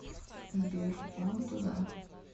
сбер вон туда